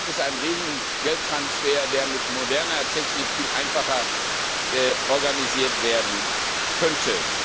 Da gibt es einen riesigen Geldtransfer, der mit moderner Technik viel einfacher organisiert werden könnte.